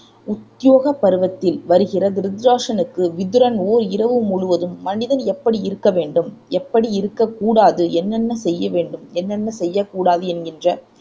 உத்யோக பருவத்தில் வருகிறது திருதராட்டிரனுக்கு விதுரன் ஓர் இரவு முழுவதும் மனிதன் எப்படி இருக்க வேண்டும் எப்படி இருக்கக் கூடாது என்னென்ன செய்ய வேண்டும் என்னென்ன செய்யக் கூடாது என்கின்ற